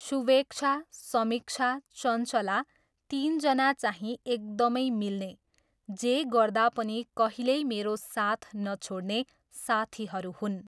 सुवेक्षा, समीक्षा, चञ्चला, तिनजना चाहिँ एकदमै मिल्ने, जे पर्दा पनि कहिल्यै मेरो साथ नछोड्ने साथीहरू हुन्।